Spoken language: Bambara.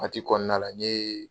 Waati kɔnɔna la n ye